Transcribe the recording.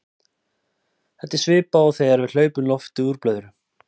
þetta er svipað og þegar við hleypum lofti úr blöðru